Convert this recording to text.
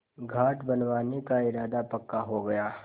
घाट बनवाने का इरादा पक्का हो गया